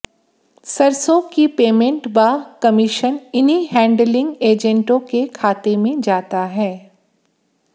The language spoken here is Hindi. सरसों की पेमेंट व कमीशन इन्हीं हैंडलिंग एजेंटों के खाते में जाता है